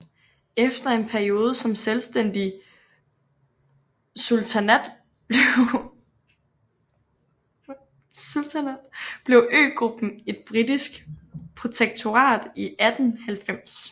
Efter en periode som selvstændig sultanat blev øgruppen et britisk protektorat i 1890